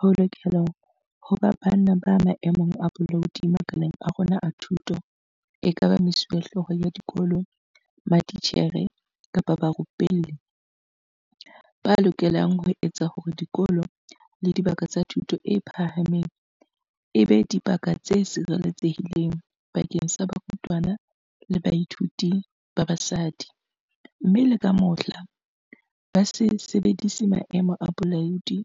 Ho lokela ho ba banna ba maemong a bolaodi makaleng a rona a thuto, ekaba mesuwehlooho ya dikolo, matitjhere kapa barupelli, ba lokelang ho etsa hore dikolo le dibaka tsa thuto e phahameng e be dibaka tse sireletse hileng bakeng sa barutwana le bathuiti ba basadi, mme le ka mohla, ba se sebedise maemo a bolaodi